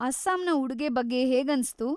ಅಸ್ಸಾಂನ ಉಡುಗೆ ಬಗ್ಗೆ ಹೇಗನ್ಸ್ತು?